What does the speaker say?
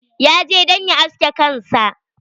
Ya je don ya aske kansa.